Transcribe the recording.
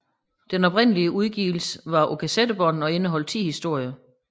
Den oprindelige udgivelse var på kassettebånd og indeholdt ti historier